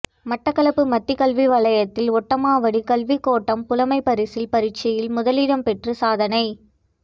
மட்டக்களப்பு மத்தி கல்வி வலயத்தில் ஓட்டமாவடி கல்விக்கோட்டம் புலமைப்பரிசில் பரீட்சையில் முதலிடம் பெற்று சாதனை